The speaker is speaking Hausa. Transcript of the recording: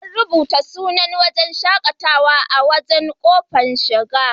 An rubuta sunan wurin shaƙatawar a babban ƙofar shiga.